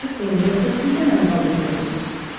Açıq deyin, yoxsa siz də məni balda görmüsünüz?